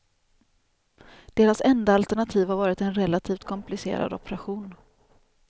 Deras enda alternativ har varit en relativt komplicerad operation.